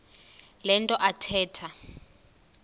le nto athetha